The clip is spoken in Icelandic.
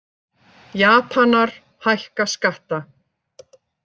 Japanar hækka skatta